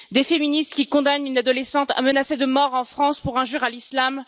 Des féministes qui condamnent une adolescente menacée de mort en France pour injure à l'islam?